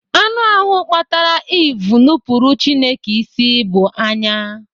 Anụ ahụ kpatara Eve nupuru Chineke isi bụ anya.